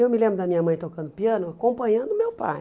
Eu me lembro da minha mãe tocando piano acompanhando meu pai.